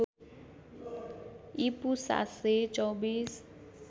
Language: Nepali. ईपू ७२४